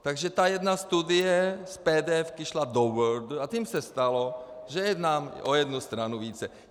Takže ta jedna studie z PDF šla do Wordu, a tím se stalo, že je tam o jednu stranu více.